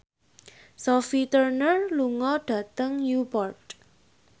Sophie Turner lunga dhateng Newport